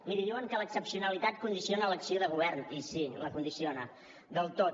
miri diuen que l’excepcionalitat condiciona l’acció de govern i sí la condiciona del tot